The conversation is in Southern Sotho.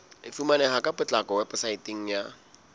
e fumaneha ka potlako weposaeteng